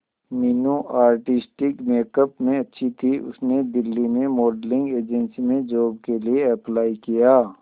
Meenu artistic makeup में अच्छी थी उसने दिल्ली में मॉडलिंग एजेंसी में जॉब के लिए अप्लाई किया